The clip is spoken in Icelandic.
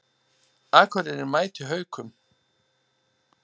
Akureyri mætir Haukum